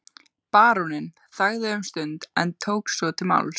Baróninn þagði um stund en tók svo til máls